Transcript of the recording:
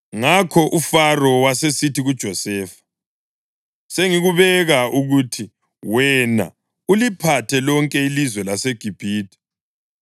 Ngakho uFaro wasesithi kuJosefa, “Sengikubeka ukuthi wena uliphathe lonke ilizwe laseGibhithe.”